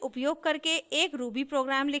निम्न उपयोग करके एक ruby प्रोग्राम लिखें